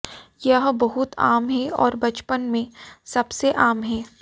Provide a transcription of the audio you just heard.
यह बहुत आम है और बचपन में सबसे आम है